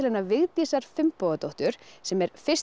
Vigdísar Finnbogadóttur sem er fyrsti